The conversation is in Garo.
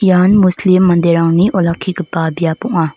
ian muslim manderangni olakkigipa biap ong·a.